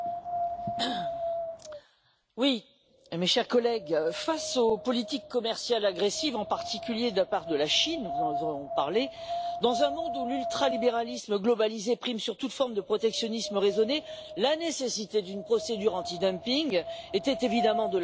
Monsieur le Président, mes chers collègues, face aux politiques commerciales agressives, en particulier de la part de la Chine, dont nous venons de parler, dans un monde où l'ultralibéralisme globalisé prime toute forme de protectionnisme raisonné, la nécessité d'une procédure antidumping était évidemment